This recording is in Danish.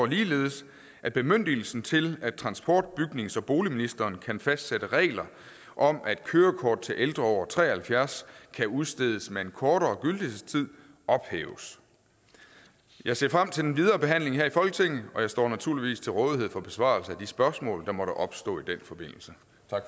ligeledes at bemyndigelsen til at transport bygnings og boligministeren kan fastsætte regler om at kørekort til ældre over tre og halvfjerds år kan udstedes med en kortere gyldighedstid ophæves jeg ser frem til den videre behandling her i folketinget og jeg står naturligvis til rådighed for besvarelse af de spørgsmål der måtte opstå i den forbindelse